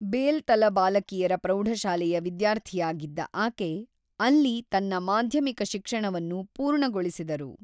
ಬೇಲ್ತಲ ಬಾಲಕಿಯರ ಪ್ರೌಢಶಾಲೆಯ ವಿದ್ಯಾರ್ಥಿಯಾಗಿದ್ದ ಆಕೆ ಅಲ್ಲಿ ತನ್ನ ಮಾಧ್ಯಮಿಕ ಶಿಕ್ಷಣವನ್ನು ಪೂರ್ಣಗೊಳಿಸಿದರು.